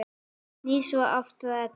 Snýr svo aftur að Eddu.